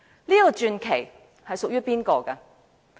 這個傳奇屬於誰人？